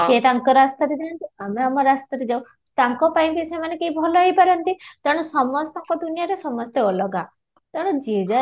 ସିଏ ତାଙ୍କ ରାସ୍ତାରେ ଯାଆନ୍ତୁ ଆମେ ଆମ ରାସ୍ତାରେ ଯାଉ, ତାଙ୍କ ପାଇଁ ବି ସେମାନେ କେହି ଭଲ ହେଇ ପାରନ୍ତି ତେଣୁ ସମସ୍ତଙ୍କ ଦୁନିଆଁରେ ସମସ୍ତେ ଅଲଗା ତେଣୁ ଯିଏ ଯାହା